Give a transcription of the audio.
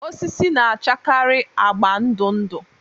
Osisi na-achakarị agba ndụ ndụ